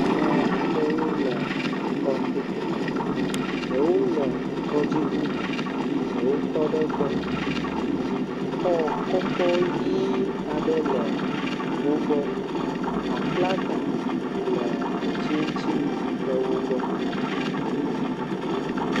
Ame aɖewo le tɔ to, ɖewo le tɔdziŋu me ɖewo tɔ ɖe egbɔ xɔ kɔkɔ ʋi aɖe le wo gbɔ, aflaga le ati ŋuti le wo gbɔ.